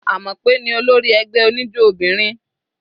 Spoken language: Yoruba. Amope ní olórí ẹgbẹ́ oníjó obìnrin.